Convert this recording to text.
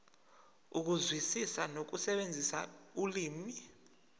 ukuzwisisa nokusebenzisa ulimi